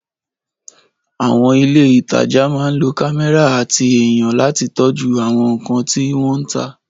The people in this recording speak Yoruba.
Àwọn ilé ìtajà máa ń lo kámẹ́rà àti ènìyàn láti tọ́jú àwọn nkan tí wọ́n ta